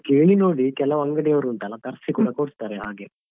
ಕೇಳಿ ನೋಡಿ ಕೆಲವು ಅಂಗಡಿಯವರು ಉಂಟಲ್ಲ ತರ್ಸಿ ಕೂಡ ಕೊಡ್ತಾರೆ ಹಾಗೆ.